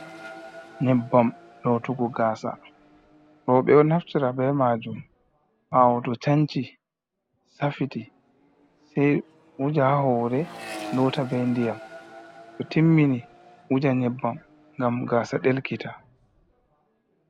Nyebbam lotugo gasa, rooɓe ɗo naftira be majum ɓawo to chanci, saffiti sei wuja ha hore, lota be ndiyam to timmini wuja nyebbam ngam gasa ɗelkiti.